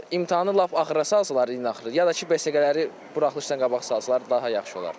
Yəni imtahanı lap axıra salsalar, ilin axırı, ya da ki, besiqələri buraxılışdan qabaq salsalar daha yaxşı olar.